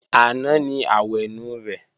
Àná ni àwẹ̀nù rẹ̀